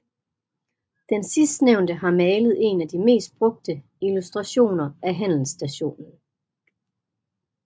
Den sidstnævnet har malet en af de mest brugte illustrationer af handelsstationen